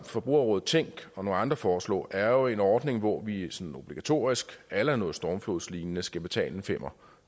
forbrugerrådet tænk og nogle andre foreslog er jo en ordning hvor vi sådan obligatorisk a la noget stormflodslignende skal betale en femmer